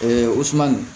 o suman